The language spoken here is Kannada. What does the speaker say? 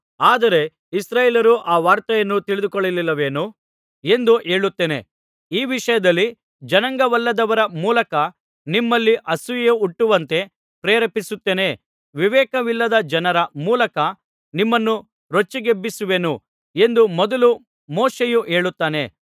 ಆದರೆ ಇಸ್ರಾಯೇಲ್ಯರು ಆ ವಾರ್ತೆಯನ್ನು ತಿಳಿದುಕೊಳ್ಳಲಿಲ್ಲವೇನು ಎಂದು ಹೇಳುತ್ತೇನೆ ಈ ವಿಷಯದಲ್ಲಿ ಜನಾಂಗವಲ್ಲದವರ ಮೂಲಕ ನಿಮ್ಮಲ್ಲಿ ಅಸೂಯೆ ಹುಟ್ಟುವಂತೆ ಪ್ರೆರೇಪಿಸುತ್ತೇನೆ ವಿವೇಕವಿಲ್ಲದ ಜನರ ಮೂಲಕ ನಿಮ್ಮನ್ನು ರೊಚ್ಚಿಗೆಬ್ಬಿಸುವೆನು ಎಂದು ಮೊದಲು ಮೋಶೆಯು ಹೇಳುತ್ತಾನೆ